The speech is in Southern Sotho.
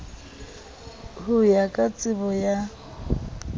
ho ya ka tsebo ya